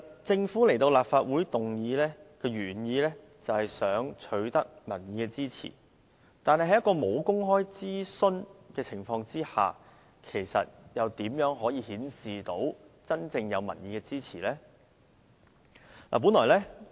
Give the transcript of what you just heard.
政府在立法會提出議案，本來是想取得民意支持，但沒有公開諮詢，又如何顯示真正有民意支持呢？